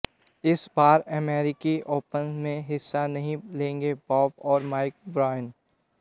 इस बार अमेरिकी ओपन में हिस्सा नहीं लेंगे बॉब और माइक ब्रायन